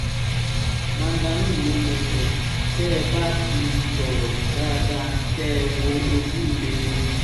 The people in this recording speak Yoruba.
mandarin no network tẹ́ ẹ bá ti sọ̀rọ̀ dáadáa kẹ́ ẹ wo ojú mi ni